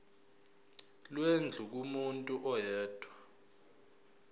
lwendlu kumuntu oyedwa